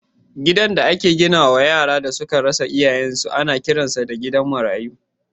Gidan da aka gina wa yaran da suka rasa iyayensu ana kiransa da gidan marayu.